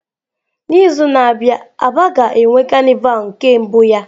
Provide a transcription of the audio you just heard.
N'izu a na-abịa aba ga-enwe carnival nke mbụ ya.